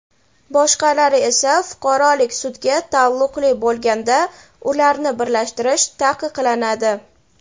boshqalari esa fuqarolik sudga taalluqli bo‘lganda ularni birlashtirish taqiqlanadi.